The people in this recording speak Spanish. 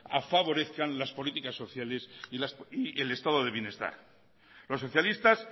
favorezcan las políticas sociales y el estado de bienestar los socialistas